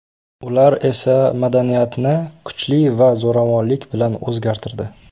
Ular esa madaniyatni kuchli va zo‘ravonlik bilan o‘zgartirdi.